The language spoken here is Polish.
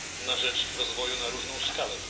na rzecz rozwoju na różną skalę.